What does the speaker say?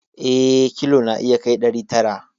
Eh, kilo na iya kai ɗari tara